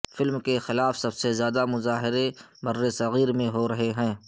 film کے خلاف سب سے زیادہ مظاہرے برصغیر میں ہو رہے ہیں